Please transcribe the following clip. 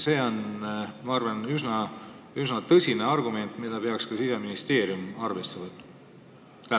See on, ma arvan, üsna tõsine argument, mida peaks ka Siseministeerium arvesse võtma.